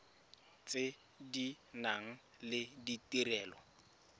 tse di nang le ditirelo